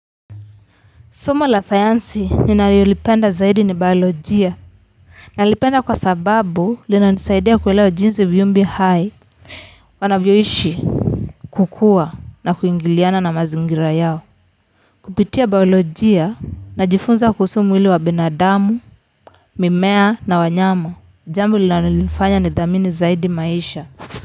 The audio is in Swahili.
Somo la sayansi ninalolipenda zaidi ni biolojia. Nalipenda kwa sababu linanisaidia kuelewa jinsi viumbe hai wanavyoishi, kukua na kuingiliana na mazingira yao. Kupitia biolojia najifunza kuhusu mwili wa binadamu, mimea na wanyama. Jambo linalonifanya nithamini zaidi maisha.